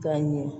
K'a ɲɛ